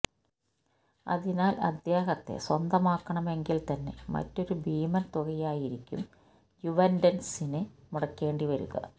അതിനാൽ അദ്ദേഹത്തെ സ്വന്തമാക്കണമെങ്കിൽത്തന്നെ മറ്റൊരു ഭീമൻ തുകയാകും യുവന്റസിന് മുടക്കേണ്ടി വരിക